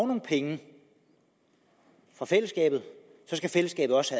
nogle penge fra fællesskabet skal fællesskabet også